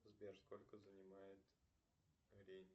сбер сколько занимает